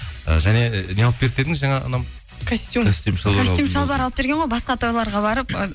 і және не алып берді дедіңіз жаңа анам костюм костюм шалбар алып берген ғой басқа тойларға барып ы